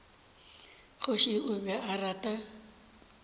kgoši o be a rata